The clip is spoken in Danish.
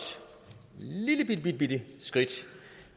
lillelillebitte skridt